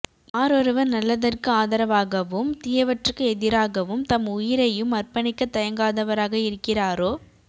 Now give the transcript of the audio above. யாரொருவர் நல்லதற்கு ஆதரவாகவும் தீயவற்றுக்கு எதிராகவும் தம் உயிரையும் அர்ப்பணிக்கத் தயங்காதவராக இருக்கிறாரோ